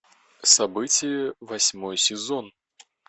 событие восьмой сезон